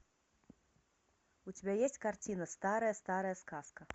у тебя есть картина старая старая сказка